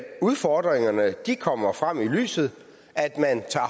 udfordringerne kommer frem i lyset at man tager